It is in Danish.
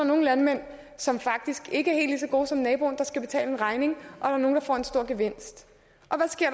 nogle landmænd som faktisk ikke er så gode som naboen der skal betale en regning og nogle der får en stor gevinst